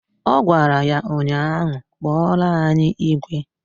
Ọ gwara ya ụnyaahụ "Kpọrọ anyị igwe"!